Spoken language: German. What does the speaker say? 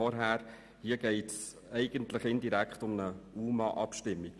Hier geht es indirekt um eine UMAAbstimmung.